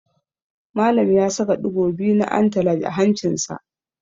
Malam ya saka ɗigo biyu na antalaj a hancinsa.